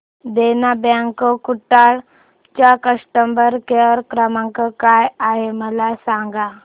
देना bank Kudal चा customer care क्रमांक काय आहे मला सांगा